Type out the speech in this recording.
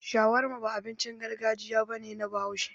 Shawarma ba abincin gargajiya ba ne na Bahaushe.